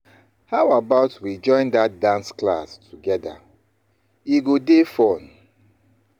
How about we join that dance class together? E go dey fun.